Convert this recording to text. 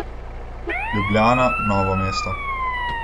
Ljubljana, Novo mesto.